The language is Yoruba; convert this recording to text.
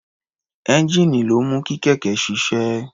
Ẹ́ńjíìnì ló ń mú kí kẹ̀kẹ́ ṣiṣẹ́.